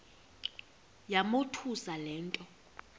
yamothusa le nto